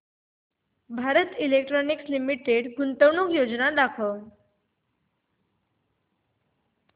Bharat electronics limited गुंतवणूक योजना दाखव